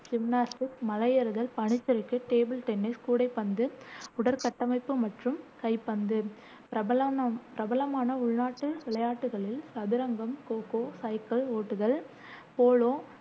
gymnastics, மலை ஏறுதல், பனிச்சறுக்கு, டேபிள் டென்னிஸ், கூடைப்பந்து, உடற்கட்டமைப்பு மற்றும் கைப்பந்து பிரபலமான உள்நாட்டு விளையாட்டுகளில் சதுரங்கம், கோ கோ, சைக்கிள் ஓட்டுதல், போலோ,